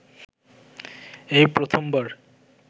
এই প্রথমবার